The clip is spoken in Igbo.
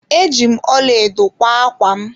Eji m ọlaedo kwa ákwá m.